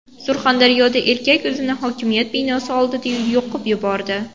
Surxondaryoda erkak o‘zini hokimiyat binosi oldida yoqib yubordi .